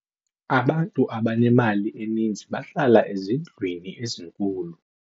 abantu abanemali eninzi bahlala ezindlwini ezinkulu